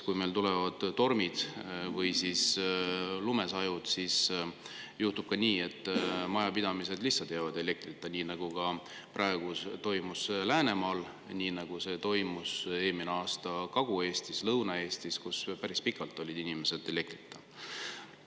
Kui meil tulevad tormid või lumesajud, siis juhtub nii, et majapidamised jäävad elektrita, nii nagu oli Läänemaal, nii nagu see oli eelmine aasta Kagu-Eestis, Lõuna-Eestis, kus päris pikalt olid inimesed elektrita.